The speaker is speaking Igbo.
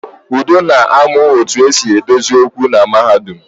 Udo na-amu etu e si edozi okwu na mahadum